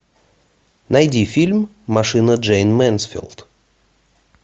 найди фильм машина джейн мэнсфилд